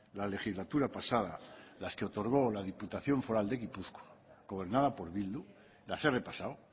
la legislatura pasada las que otorgo la diputación foral de gipuzkoa gobernada por bildu las he repasado